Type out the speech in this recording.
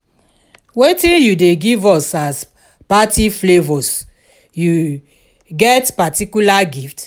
wetin you dey give as party favors you get particular gift?